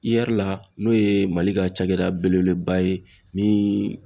la n'o ye Mali ka cakɛda belebeleba ye ni